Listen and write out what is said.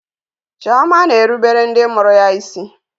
Chioma na-erubere ndị mụrụ ya isi.